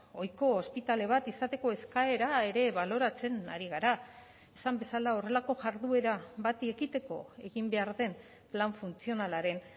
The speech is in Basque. ohiko ospitale bat izateko eskaera ere baloratzen ari gara esan bezala horrelako jarduera bati ekiteko egin behar den plan funtzionalaren